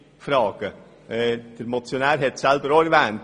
Der Motionär hat es auch erwähnt.